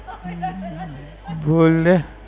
હમ બોલને